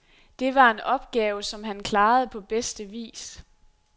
Det var en opgave, som han klarede på bedste vis.